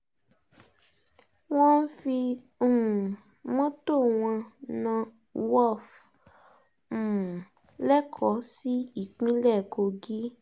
mo ń fi um mọ́tò wọn na worf um lẹ́kọ̀ọ́ sí ìpínlẹ̀ kogi